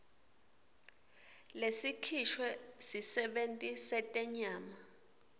lesikhishwe sisebenti setenyama